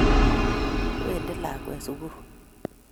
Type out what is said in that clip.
wendi lakwet sugul